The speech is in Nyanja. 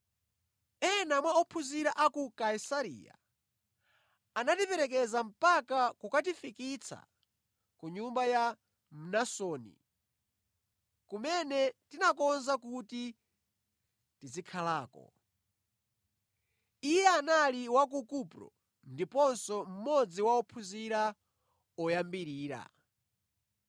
Ena mwa ophunzira a ku Kaisareya anatiperekeza mpaka kukatifikitsa ku nyumba ya Mnasoni, kumene tinakonza kuti tizikhalako. Iye anali wa ku Kupro ndiponso mmodzi wa ophunzira oyambirira.